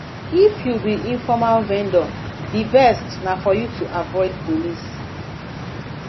if you be informal vendor di best na for you to avoid police